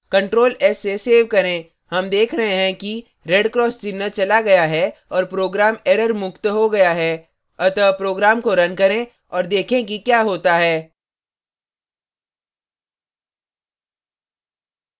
ctrl s से सेव करें हम देख रहें हैं कि red cross चिन्ह चला गया है और program error मुक्त हो गया है अतः program को red करें और देखें कि we होता है